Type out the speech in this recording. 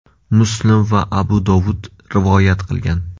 Muslim va Abu Dovud rivoyat qilgan.